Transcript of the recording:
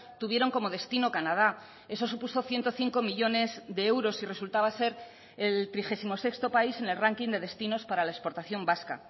tuvieron como destino canadá eso supuso ciento cinco millónes de euros y resultaba ser el trigésimo sexto país en el ranking de destinos para la exportación vasca